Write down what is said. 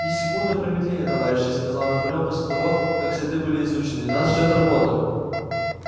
ни секунды промедления товарищи сказал наполеон после того как следы были изучены нас ждёт работа